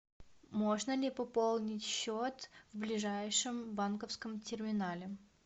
можно ли пополнить счет в ближайшем банковском терминале